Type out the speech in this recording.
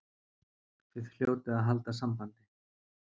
Þið hljótið að halda sambandi.